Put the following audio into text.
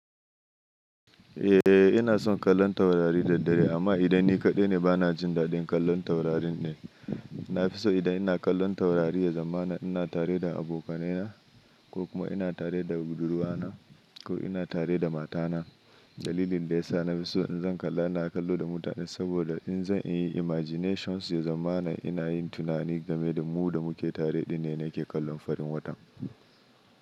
Eh, ina son kallon taurari da dare amma idan ni kaɗai ne bana jin daɗin kallon taurarin ne. Nafiso idan ina kallon taurari ya zama ina tare da abokanai na ko kuma ina tare da budurwa na ko ina tare da mata na. Dalilin da ya sa na fiso in zan kalla ina kallo da mutane saboda in zan in yi imaginations ya zama ina yin tunani game da mu da muke tare din ne na ke kallon farin watan.